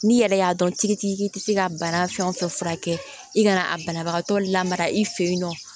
N'i yɛrɛ y'a dɔn tigitigi tɛ se ka bana fɛn fɛn furakɛ i kana a banabagatɔ lamara i fɛ yen nɔ